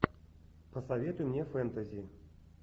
посоветуй мне фэнтези